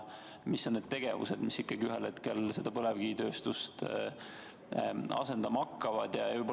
Mis on need tegevused, mis ühel hetkel põlevkivitööstust asendama hakkavad?